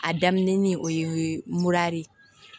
A daminɛ ni o ye mura de ye